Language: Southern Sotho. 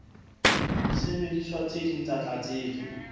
disebediswa tse ding tsa tlatsetso